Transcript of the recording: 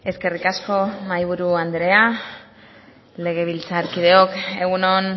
eskerrik asko mahai buru andrea legebiltzarkideak egun on